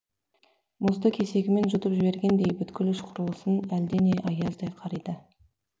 мұзды кесегімен жұтып жібергендей бүткіл іш құрылысын әлдене аяздай қариды